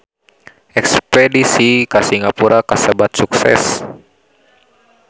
Espedisi ka Singapura kasebat sukses